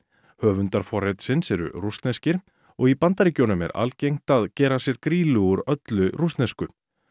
höfundar forritsins eru rússneskir og í Bandaríkjunum er algengt að gera sér grýlu úr öllu rússnesku